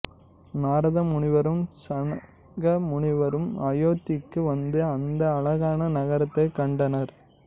நாரத முனிவரும் சனக முனிவரும் அயோத்திக்கு வந்து அந்த அழகான நகரத்தைக் கண்டனர்